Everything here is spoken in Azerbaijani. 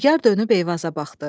Nigər dönüb Eyvaza baxdı.